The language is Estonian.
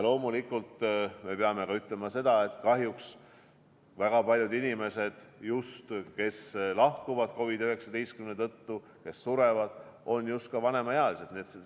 Loomulikult me peame ütlema ka seda, et kahjuks on väga paljud inimesed, kes lahkuvad, surevad COVID-19 tõttu, just vanemaealised.